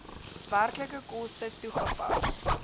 werklike koste toegepas